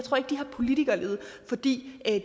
politikerlede fordi